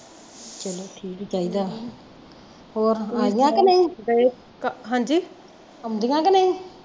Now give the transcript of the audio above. ਚਲੋ ਠੀਕ ਈ ਚਾਹੀਦਾ ਹੋਰ ਆਗਿਆ ਕਿ ਨਹੀਂ ਆਉਂਦੀਆ ਕਿ ਨਹੀਂ